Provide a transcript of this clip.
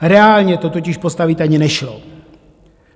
Reálně to totiž postavit ani nešlo.